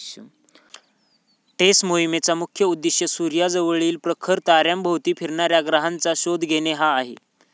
टेस मोहिमेचा मुख्य उद्देश सूर्याजवळील प्रखर ताऱ्याभोवती फिरणाऱ्या ग्रहांचा शोध घेणे हा आहे.